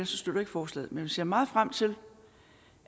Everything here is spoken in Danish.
støtter forslaget men jeg ser meget frem til